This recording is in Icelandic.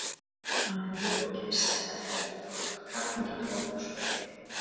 Að henni lokinni setti hann þær í, tók kraftmikið tog og spurði